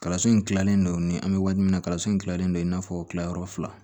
Kalanso in kilalen don an bɛ waati min na kalanso in kilalen don i n'a fɔ kilayɔrɔ fila